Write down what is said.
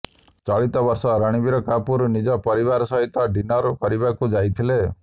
ଗତବର୍ଷ ରଣବୀର କପୁର ନିଜ ପରିବାର ସହିତ ଡିନର କରିବାକୁ ଯାଇଥିଲେ